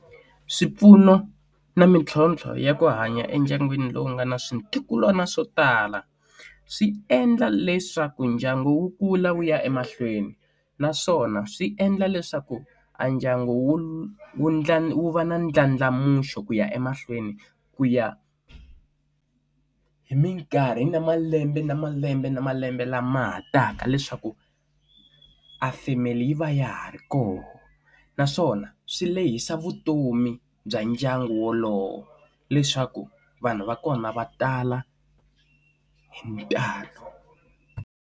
Swipfuno na mitlhontlho ya ku hanya endyangwini lowu nga na switukulwana swo tala swi endla leswaku ndyangu wu kula wu ya emahlweni naswona swi endla leswaku a ndyangu wu wu ntlhanu va ndlandlamuxo ku ya emahlweni ku ya hi hi minkarhi na malembe na malembe na malembe lama ha taka leswaku a family yi va ya ha ri koho naswona swi lehisa vutomi bya ndyangu wolowo leswaku vanhu va kona va tala hi ntalo.